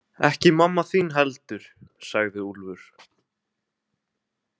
Ekki mamma þín heldur, sagði Úlfur.